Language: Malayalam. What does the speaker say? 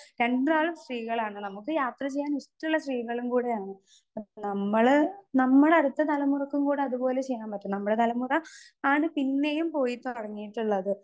സ്പീക്കർ 2 രണ്ടാളും സ്ത്രീകളാണ് നമുക്ക് യാത്ര ചെയ്യാൻ ഇഷ്ടള്ള സ്ത്രീകളും കൂടെയാണ് നമ്മള് നമ്മുടടുത്ത തലമുറക്കും കൂടെ അതു പോലെ ചെയ്യാൻ പറ്റും നമ്മളെ തലമുറ ആണ് പോയി തൊടങ്ങീട്ട്ള്ളത്.